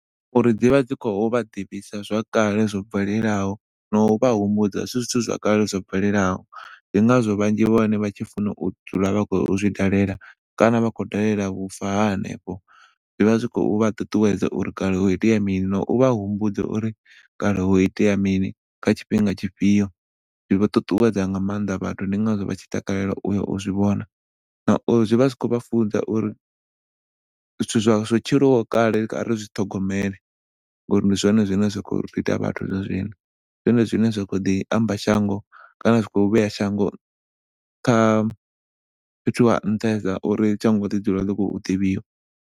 Uri dzivha dzi khou vha ḓivhisa zwa kale zwo bvelelaho no vha humbudza zwithu zwa kale zwo bvelelaho ndi ngazwo vhanzhi vha hone vha tshifuna u dzula vha khou zwi ṱalela kana vha khou dalela vhufa hanefho zwi vha zwi khou vha ṱuṱuwedza uri kale ho itea mini na u vha humbudza uri kale ho itea mini kha tshifhinga tshifhio. Zwi ṱuṱuwedza nga maanḓa vhathu ndi ngazwo vha tshi takalela uyo zwi vhona na uri zwi vha zwi khou vha funza uri zwithu zwo tshilwa kale khari zwi ṱhogomele ngauri ndi zwone zwine zwa khou ri ita vhathu zwa zwino. Ndi zwone zwine zwa khou ḓi amba shango kana u vhuya shango kha fhethu ha nṱhesa uri shango ḽi dzule ḽi khou ḓivhiwa.